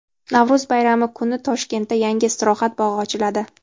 Navro‘z bayrami kuni Toshkentda yangi istirohat bog‘i ochiladi.